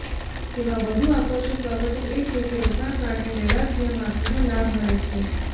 તેમાં વધુ આકર્ષક બાબતો એ છે રોકાણકારને વેરાકીય માફીનો લાભ મળે છે